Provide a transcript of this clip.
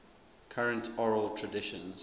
current oral traditions